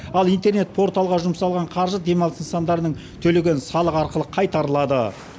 ал интернет порталға жұмсалған қаржы демалыс нысандарының төлеген салығы арқылы қайтарылады